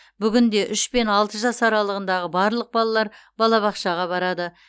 бүгінде үш пен алты жас аралығындағы барлық балалар балабақшаға барады